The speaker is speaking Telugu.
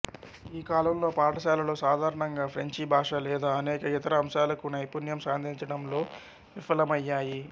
ఈ కాలంలో పాఠశాలలు సాధారణంగా ఫ్రెంచి భాష లేదా అనేక ఇతర అంశాలకు నైపుణ్యం సాధించడంలో విఫలమయ్యాయి